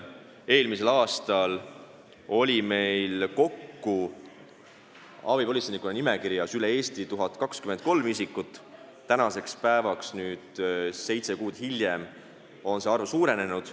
Eelmisel aastal oli meil abipolitseinike nimekirjas üle Eesti kokku 1023 isikut, tänaseks päevaks, seitse kuud hiljem, on see arv suurenenud.